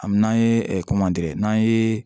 Ami n'an ye n'an ye